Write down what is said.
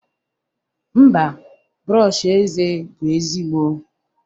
mba, brọsh eze bụ ezigbo